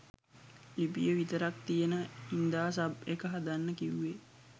ලිපිය විතරක් තියෙන හින්දා සබ් එක හදන්න කිවුවේ